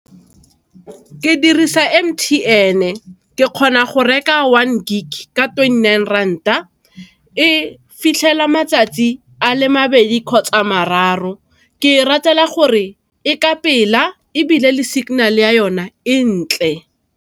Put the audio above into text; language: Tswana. Ke dirisa M_T_N, ke kgona go reka one gig ka twenty-nine rand-a, e fitlhela matsatsi a le mabedi kgotsa a mararo, ke e ratela gore e ka pela ebile le signal ya yone e ntle.